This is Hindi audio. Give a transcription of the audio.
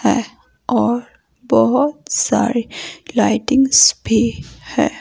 है और बहुत सारी लाइटिंग्स भी है।